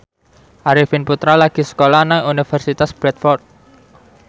Arifin Putra lagi sekolah nang Universitas Bradford